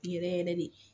Yɛrɛ yɛrɛ de